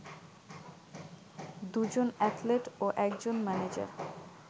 দুজন অ্যাথলেট ও একজন ম্যানেজার